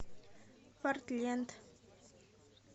портленд